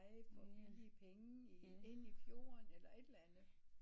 For billige penge ind i fjorden eller et eller andet